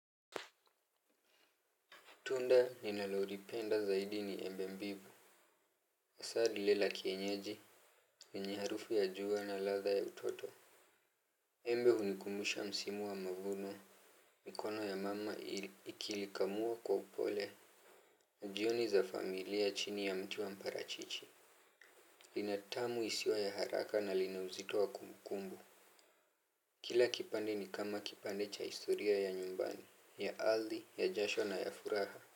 Tunda ninalolipenda zaidi ni embe mbivu. Asa lile la kienyeji yenye harufu ya jua na latha ya utoto. Embe hunikumbusha msimu wa mavuno. Mikono ya mama ikilikamua kwa upole. Jioni za familia chini ya mti wa mparachichi. Lina tamu isiyo ya haraka na linauzito wa kumbukumbu. Kila kipande ni kama kipande cha historia ya nyumbani. Ya ardhi, ya jasho na ya furaha.